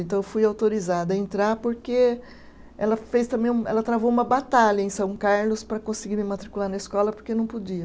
Então eu fui autorizada a entrar porque ela fez também um, ela travou uma batalha em São Carlos para conseguir me matricular na escola porque não podia.